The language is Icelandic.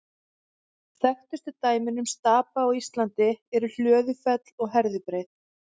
Þekktustu dæmin um stapa á Íslandi eru Hlöðufell og Herðubreið.